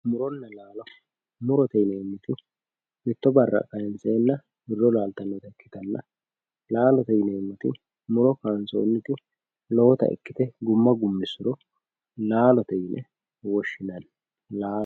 muronna laalo murote yineemmoti mitto barra kaynseenna laalote yineemmoti muro kaynsoonniti lowota ikkite gumma gummissuro laalote yine woshshinanni